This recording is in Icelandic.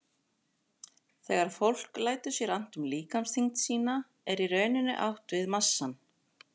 Þegar fólk lætur sér annt um líkamsþyngd sína er í rauninni átt við massann.